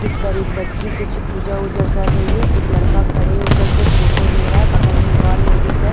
जिस पर एक बच्ची कुछ पूजा वजा कर रही है एक लड़का खड़े होकर के फोटो ले रहा है बगल में एक और लेडीज है।